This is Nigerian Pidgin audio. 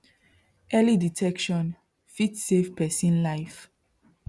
early detection fit save person life